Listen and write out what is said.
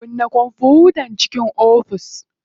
Kunna kwamfutan ciki ofis.